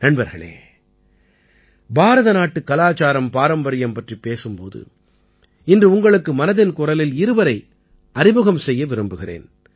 நண்பர்களே பாரத நாட்டுக் கலாச்சாரம்பாரம்பரியம் பற்றிப் பேசும் போது இன்று உங்களுக்கு மனதின் குரலில் இருவரை அறிமுகம் செய்ய விரும்புகிறேன்